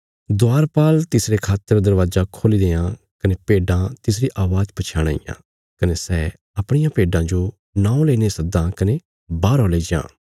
द्वारपाल तिसरे खातर दरवाजा खोल्ली देआं कने भेड्डां तिसरी अवाज़ पछयाणां इयां कने सै अपणियां भेड्डां जो नौं लेईने सद्दां कने बाहरौ लेईजां